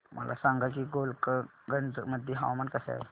मला सांगा की गोलकगंज मध्ये हवामान कसे आहे